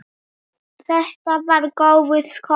Þetta var góður skóli.